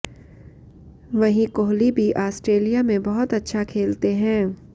वहीं कोहली भी आस्ट्रेलिया में बहुत अच्छा खेलते हैं